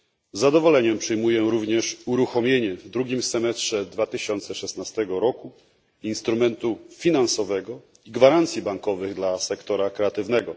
Z zadowoleniem przyjmuję również uruchomienie w drugim semestrze 2016 roku instrumentu finansowego i gwarancji bankowych dla sektora kreatywnego.